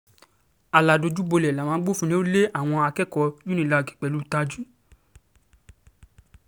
aládojúbolẹ̀ làwọn um agbófinró lé àwọn akẹ́kọ̀ọ́ cs] unilag um pẹ̀lú